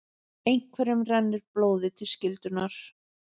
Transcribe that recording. Einhverjum rennur blóðið til skyldunnar